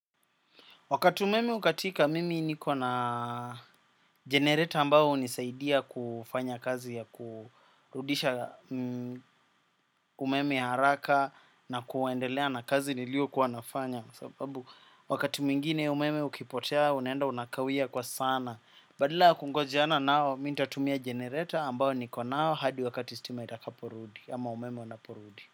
Wakati umeme hukatika, mimi niko na generator ambayo hunisaidia kufanya kazi ya kurudisha umeme haraka na kuendelea na kazi niliyokuwa nafanya. Sababu, wakati mwingine umeme ukipotea, unenda unakawia kwa sana. Badala ya kungojeana nao, mi nitatumia generator ambayo niko nayo hadi wakati stima itakaporudi, ama umeme unaporudi.